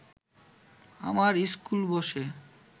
আমার ইস্কুল বসে